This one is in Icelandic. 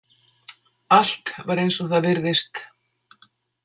Allt var eins og það virðist.